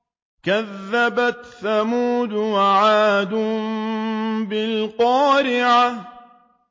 كَذَّبَتْ ثَمُودُ وَعَادٌ بِالْقَارِعَةِ